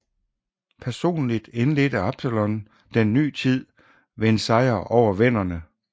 Personlig indledede Absalon den ny tid ved en sejr over venderne